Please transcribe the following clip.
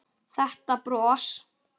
Þetta bros!